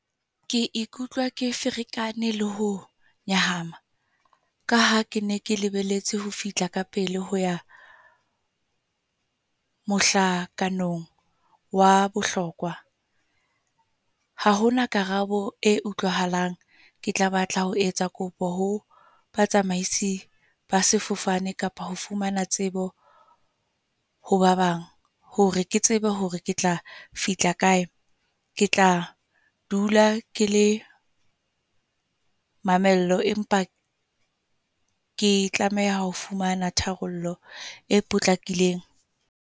Ke ikutlwa ke ferekane le ho nyahama. Ka ha ke ne ke lebeletse ho fihla ka pele, ho ya mohlakana wa bohlokwa. Ha hona karabo e utlwahalang. Ke tla batla ho etsa kopo ho batsamaisi ba sefofane, kapa ho fumana tsebo ho ba bang. Hore ke tsebe hore ke tla fihla kae, ke tla dula ke le mamello. Empa ke tlameha ho fumana tharollo e potlakileng.